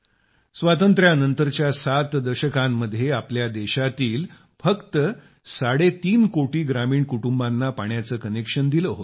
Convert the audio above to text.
स्वातंत्र्यानंतरच्या 7 दशकांत आपल्या देशातील फक्त साडे तीन कोटी ग्रामीण कुटुंबांना पाण्याचे कनेक्शन दिले होते